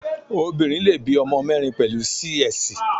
Obinrin le bí ọmọ mẹ́rin pẹ̀lú Sí-Ẹsì.